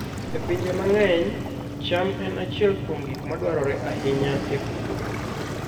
E pinje mang'eny, cham en achiel kuom gik ma dwarore ahinya e pur.